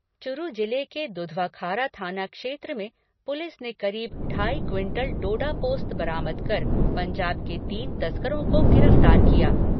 चुरु जिले के दुधवाखारा थाना क्षेत्र में पुलिस ने करीब ढाई क्विंटल डोडा पोस्त बरामद कर पंजाब के तीन तस्करों को गिरफ्तार किया।